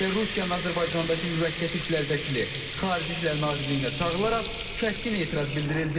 Və Rusiyanın Azərbaycandakı müvəqqəti işlər vəkili Xarici İşlər Nazirliyinə çağırılaraq kəskin etiraz bildirildi.